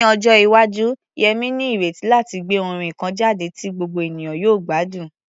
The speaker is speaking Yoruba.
Ní ọjọ́ iwájú, Yemi ní ìrètí láti gbé orin kan jáde tí gbogbo ènìyàn yóò gbádùn.